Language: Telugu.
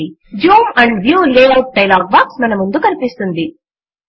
Zoom and view layout dialog box మన ముందు కనిపిస్తుంది